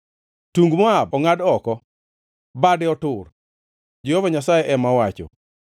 Tung Moab ongʼad oko; bade otur,” Jehova Nyasaye ema owacho.